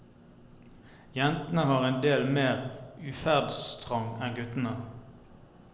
Jentene har en del mer utferdstrang enn guttene.